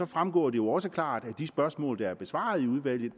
fremgår det jo også klart af de spørgsmål der er besvaret i udvalget